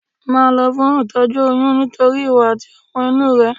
Máa lọ fún itoju oyún nítorí ìwọ àti ọmọ inú rẹ.